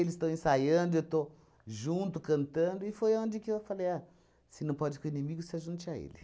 Eles estão ensaiando, eu estou junto, cantando, e foi onde que eu falei, ah, se não pode com o inimigo, se ajunte a ele.